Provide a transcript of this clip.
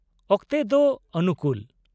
ᱚᱠᱛᱮ ᱫᱚ ᱚᱱᱩᱠᱩᱞ ?